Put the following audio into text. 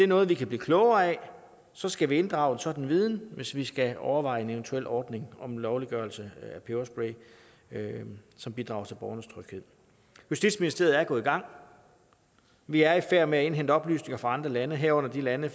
noget vi kan blive klogere af så skal vi inddrage en sådan viden hvis vi skal overveje en eventuel ordning om en lovliggørelse af peberspray som bidrag til borgernes tryghed justitsministeriet er gået i gang vi er i færd med at indhente oplysninger fra andre lande herunder de lande